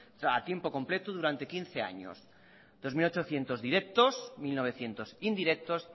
a tiempo completo durante quince años dos mil ochocientos directos mil novecientos indirectos